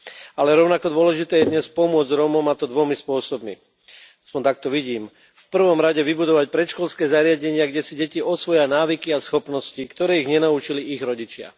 Ale rovnako dôležité je dnes pomôcť Rómom, a to dvomi spôsobmi aspoň tak to vidím v prvom rade vybudovať predškolské zariadenia, kde si deti osvoja návyky a schopnosti, ktoré ich nenaučili ich rodičia.